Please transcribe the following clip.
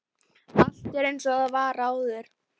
Og allt er einsog það var áður.